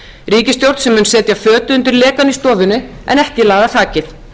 ríkisstjórn sem mun segja fötu undir lekann í stofunni en ekki laga þakið